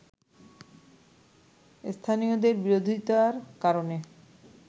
স্থানীয়দের বিরোধিতার কারণে